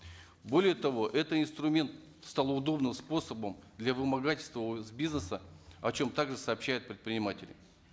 более того это инструмент стал удобным способом для вымогательства у бизнеса о чем также сообщают предприниматели